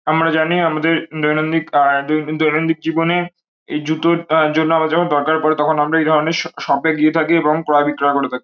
আমরা জানি আমাদের দৈনন্দিক আ দৈনন্দিন জীবনে এই জুতোর আ জন্য আবার যখন দরকার পড়ে তখন আমরা এই ধরনের শ শপে এ গিয়ে থাকি এবং ক্রয় বিক্রয় করে থাকি।